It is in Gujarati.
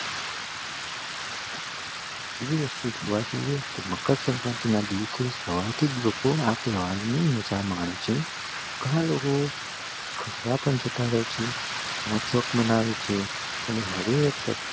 એવી વસ્તુ જોવા જઈએ તોહ મકર સંક્રાંતિ ના દિવસે સવારથીજ લોકો આ તહેવાર ની ઉજવામાં આવે છે ગણા લોકો ફરવા પણ જતા રહે છે મનાવે છે હવે